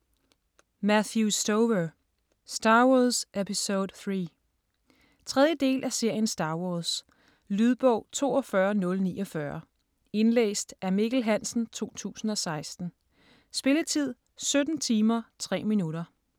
Stover, Matthew: Star Wars episode III 3. del af serien Star wars. Lydbog 42049 Indlæst af Mikkel Hansen, 2016. Spilletid: 17 timer, 3 minutter.